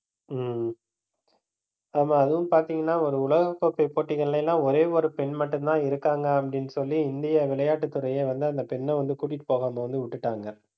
உம் ஆமா, அதுவும் பாத்தீங்கன்னா ஒரு உலகக் கோப்பை போட்டிகள்ல எல்லாம் ஒரே ஒரு பெண் மட்டும்தான் இருக்காங்க, அப்படின்னு சொல்லி இந்திய விளையாட்டு துறையே வந்து அந்த பெண்ணை வந்து கூட்டிட்டு போகாம வந்து விட்டுட்டாங்க